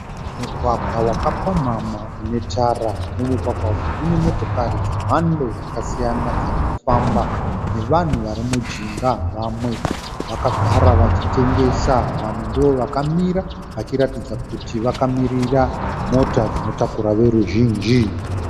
Mugwagwa wakapamhamha une tara. Mumugwaga umu mune motokari dzemhando dzakasiyana dziri kufamba nevanhu vari mujinga vamwe vakagara vachitengesa vamwe ndovakamira vachiratidza kuti vakamirira mota dzinotakura voruzhinji.